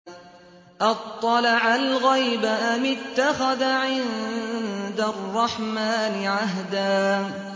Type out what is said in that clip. أَطَّلَعَ الْغَيْبَ أَمِ اتَّخَذَ عِندَ الرَّحْمَٰنِ عَهْدًا